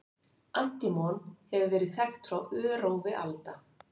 Antímon hefur verið þekkt frá örófi alda.